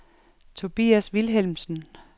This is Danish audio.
Tobias Vilhelmsen